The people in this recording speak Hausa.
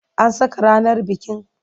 An saka ranar bikin?